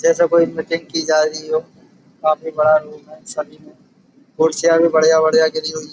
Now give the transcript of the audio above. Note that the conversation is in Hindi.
जैसे कोई मीटिंग की जारी हो। काफी बड़ा रूम है। कुर्सियाँ भी बढ़िया बढ़िया गिरी हुई।